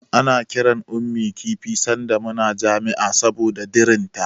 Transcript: Ana kiran Ummi kifi sanda muna jami'a saboda dirinta.